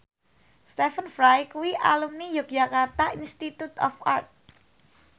Stephen Fry kuwi alumni Yogyakarta Institute of Art